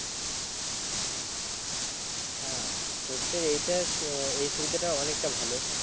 হ্যাঁ সর্ষের এইটা এই সুবিধা টা অনেকটা ভালো